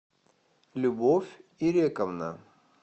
любовь ирековна